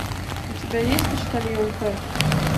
у тебя есть почтальон пэт